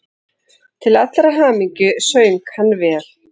Til allrar hamingju söng hann vel!